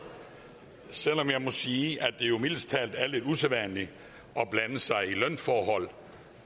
selv om jeg må sige at det jo mildest talt er lidt usædvanligt at blande sig i lønforhold